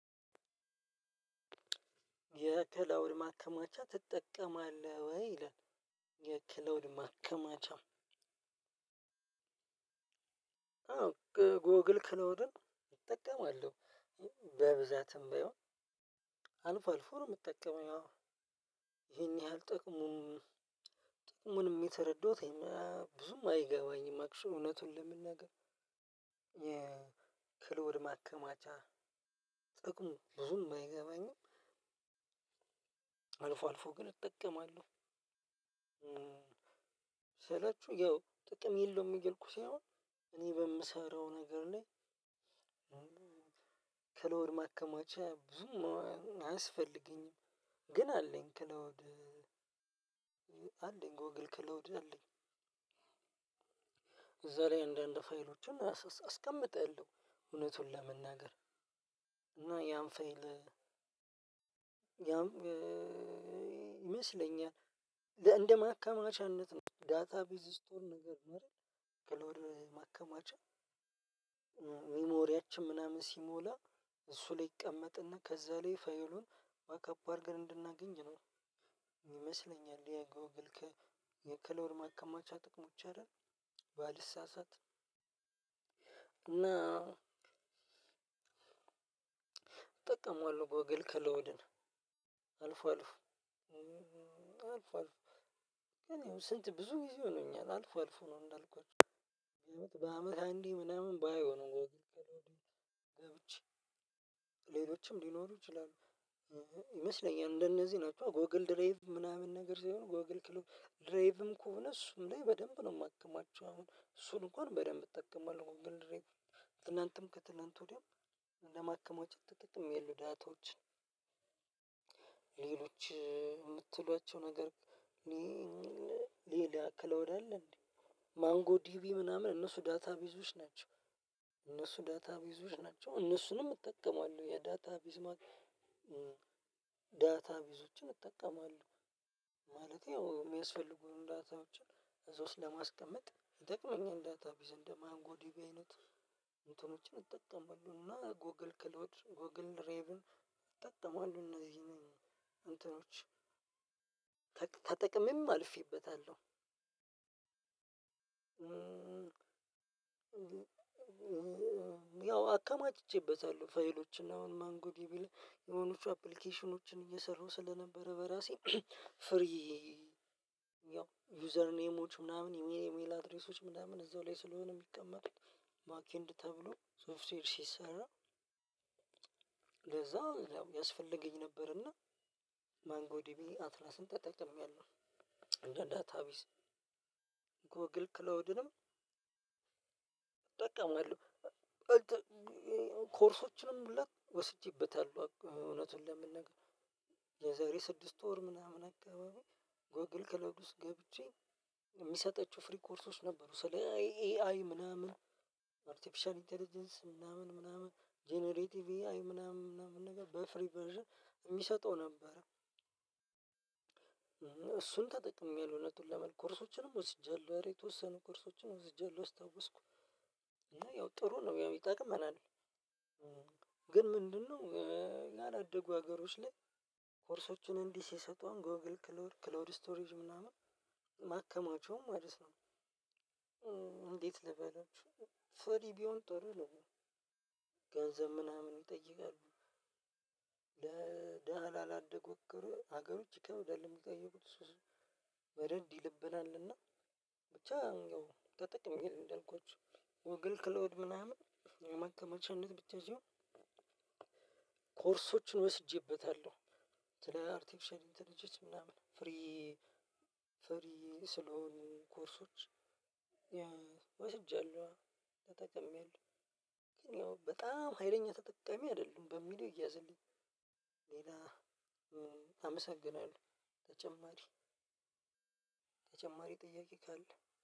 የክላውድ ማከማቻ ትጠቀማለህ ወይ? ይላል። የክላውድ ማከማቻ አዎ ጎግል ክላዉድን እጠቀማለሁ። በብዛትም ባይሆን አልፎ አልፎ ነው የምጠቀመው ያው ይሄን ያህል ጥሩ መሆኑን ጥቅሙንም የተረዳሁት ይሄን ብዙም አይገባኝም አክችሊ እውነቱን ለመናገር የክላውድ ማከማቻ ጥቅሙ ብዙም አይገባኝም። አልፎ አልፎ ግን እጠቀማለሁ። ስላችሁ ያው ጥቅም የለውም እየልኩ ሳይሆን እኔ በምሰራው ነገር ላይ ክላውድ ማከማቻ ብዙም አያስፈልገኝም ግን አለኝ ክላውድ አለኝ ጎግል ክላውድ አለኝ እዛ ላይ እንድ አንድ ፋይሎቹን አስቀምጣለሁ። እውነቱን ለመናገር እና ያን ፋይል ያም ይመስለኛል እንደ ማከማቻነት ነው ዳታቤዝ ስቶር ነገር ነው አይደል? ክላውድ ማከማቻ ሚሞሪያችሁ ምናምን ሲሞላ እሱ ላይ ይቀመጥና ከዛ ላይ ፋይሉን ባክ አፕ አድርገን እንድናገኝ ነው። ይመስለኛል የጎግል ክ የክላውድ ማከማቻ ጥቅሞች አይደል? ባልሳሳት እና እጠቀመዋለሁ ጎግል ከላዉድን አልፎ አልፎ አልፎ አልፎ ግን ያው ስንት ብዙ ጊዜ ሆኖኛል አልፎ አልፎ ነው እንዳልኳችሁ በአመት አንዴ ምናምን ባየው ነው ገብቼ ሌሎችም ሊኖሩ ይችላሉ ይመስለኛል እንደነዚህ ናቸው ጎግል ድራይቭ ምናምን ነገር ሳይሆን ጎግል ክላውድ ድራይቭም ከሆነ እሱም ላይ በደንብ ነው የማከማቸው አሁን እሱን እንኳን በደንብ እጠቀማለሁ ትላንትም ከትላንት ወዲያም ለማከማቸት ተጠቅሜያለሁ ዳታዎችን ሌሎች የምትሏቸው ነገር ሌላ ክላውድ አለ እንዴ? ማንጎ ዲቢ ምናምን እነሱ ዳታቤዞች ናቸው እነሱ ዳታቤዞች ናቸው እነሱንም እጠቀማለሁ የዳታቤዝ ዳታ ቤዞችን እጠቀማለሁ ማለቴ ያው የሚያስፈልጉን ዳታዎችን እዛ ውስጥ ለማስቀመጥ ይጠቅመኛል ዳታ ቤዝ እንደ ማንጎዲቢ አይነት እንትኖችን እጠቀማለሁ እና ጎግል ክላውድ ጎግል ድራይቭን እነዚህ ምን እንትኖች ተጠቅሜም አልፌበታለሁ። ያው አከማችቼበታለሁ ፋይሎችን አሁን ማንጎዲቢ ላይ የሆኑቹ አፕሊኬሽኖችን እየሰራሁ ስለነበረ በራሴ ፍሪ ያው ዩዘር ኔሞች ምናምን የሚል የኢሚል አድሬሶች ምናምን እዛው ላይ ስለሆነ የሚቀመጡት ባክ ኤንድ ተብሎ ሶፍትዌር ሲሰራ ለዛ ያው ያስፈልገኝ ነበርና ማንጎዲቢ አትላስን ተጠቅሜያለሁ ለዳታ ቤዝ ጎግል ክላዉድንም እጠቀማለሁ ኮርሶችንም ወስጄበታለሁ እውነቱን ለመናገር የዛሬ ስድስት ወር ምናምን አካባቢ ጎግል ክላዉብ ውስጥ ገብቼ የሚሰጣቸው ፍሪ ኮርሶች ነበሩ ስለ ኤአይ ምናምን አርቲፊሻል ኢንተለጀንስ ምናምን ምናምን ጀነሬቲቭ ኤአይ ምናምን ምናምን ነገር በፍሪ ቨርዥን የሚሰጠው ነበር እሱን ተጠቅሜያለሁ እውነቱን ለመናገር ኮርሶችንም ወስጃለሁ ኧረ የተወሰኑ ኮርሶችንም ወስጃለሁ አስታወስኩ እና ያው ጥሩ ነው ያው ይጠቅመናል። ግን ምንድነው ያዳደጉ ሀገሮች ላይ ኮርሶችን እንዲህ ሲሰጡ አሁን ጎግል ክላውድ ክላውድ ስቶሬጅ ምናምን ማከማቸውን ማለት ነው እንዴት ልበለው ፍሪ ቢሆን ጥሩ ነው። ገንዘብ ምናምን ይጠይቃሉ ላላደጉ ሀገሮች ይከብዳል ቢጠየቁት ወደድ ይልብናል እና ብቻ ተጠቅሜያለሁ እንዳልኳችሁ ጎግል ክላውድ ምናምን ማከማቻነት የምትይዥው ኮርሶችን ወስጄበታለሁ ስለ አርቴፊሻል ኢንተለጀንስ ምናምን ፍሪ ፍሪ ስለሆኑ ኮርሶች ወስጃለሁ ተጠቅሜያለሁ ግን ነው በጣም ሀይለኛ ተጠቃሜ አይደለሁም በሚለው ይያዘልኝ ሌላ አመሰግናለሁ ተጨማሪ ተጨማሪ ጥያቄ ካለ